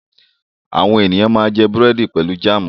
Àwọn ènìyàn máa jẹ búrẹ́dì pẹ̀lú jáámù.